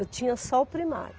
Eu tinha só o primário.